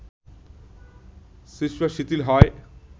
শিশ্ন শিথিল হয়